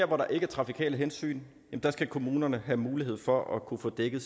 hvor der ikke er trafikale hensyn skal kommunerne have mulighed for at kunne få dækket